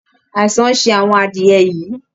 Àìsàn ń ṣe àwọn adìẹ̀ yìí